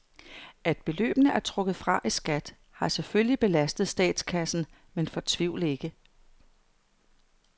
At beløbene er trukket fra i skat har selvfølgelig belastet statskassen, men fortvivl ikke.